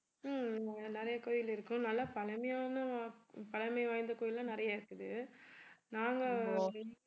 ஹம் இங்க நிறைய கோயில் இருக்கும் நல்லா பழமையான பழமை வாய்ந்த கோயில் எல்லாம் நிறைய இருக்குது நாங்க